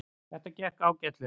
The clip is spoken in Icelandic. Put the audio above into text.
Þetta gekk ágætlega